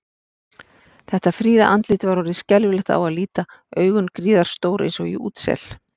Þetta fríða andlit var orðið skelfilegt á að líta, augun gríðarstór eins og í útsel.